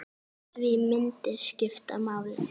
Því myndir skipta máli.